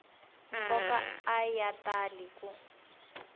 nkoka a ya tali ku